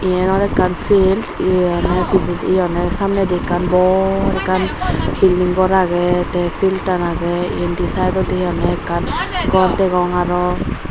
eyen oley ekkan pilt eye honney pijedi eye honney samnedi bor ekkan beldinggor agey tey piltan agey indi saedodi hi honney ekkan gor degong aro.